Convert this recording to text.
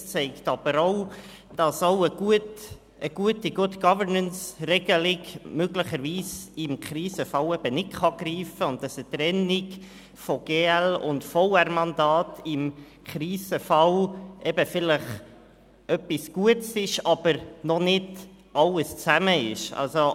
Es zeigt aber auch, dass eine gute Good-Governance-Regelung möglicherweise im Krisenfall nicht greifen kann, und dass eine Trennung von GL- und Verwaltungsratsmandaten im Krisenfall vielleicht etwas Gutes ist, aber noch nicht die einzige Lösung.